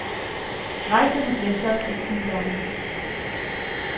Rejserne bliver solgt i ti lande.